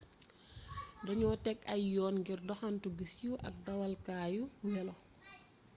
dañoo teg ay yoon ngir doxantu gu siiw ak dawalukaayu welo